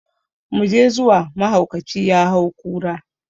mu je zuwa mahaukaci ya hau kura